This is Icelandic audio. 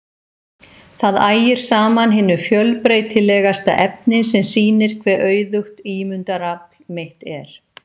Það ægir saman hinu fjölbreytilegasta efni sem sýnir hve auðugt ímyndunarafl mitt er.